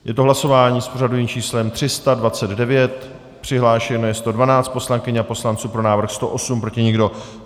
Je to hlasování s pořadovým číslem 329, přihlášeno je 112 poslankyň a poslanců, pro návrh 108, proti nikdo.